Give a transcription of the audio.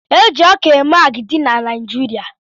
Eji ọkà eme agidi n'naijiria.